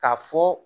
Ka fɔ